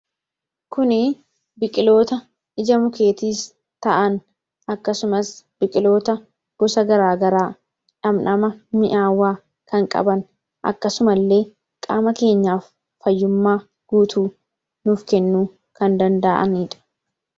Kuni biqiloota ija mukeetiis ta'an akkasumas biqiloota gosa garaa garaa dhamdhama mi'aawwaa kan qaban akkasuma illee qaama keenyaaf fayyummaa guutuu nuuf kennu kan danda'aniidha.